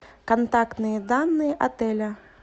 контактные данные отеля